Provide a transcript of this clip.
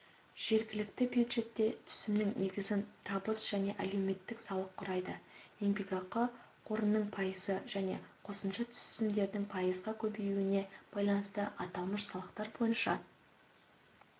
жергілікті бюджетке түсімнің негізін табыс және әлеуметтік салық құрайды еңбекақы қорының пайызға және қосымша түсімдердің пайызға көбеюіне байланысты аталмыш салықтар бойынша